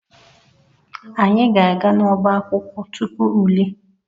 Anyị ga-aga n'ọbá akwụkwọ tupu ule.